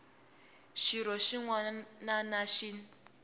xirho xin wana na xin